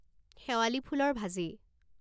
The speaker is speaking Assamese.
শেৱালী ফুলৰ ভাজি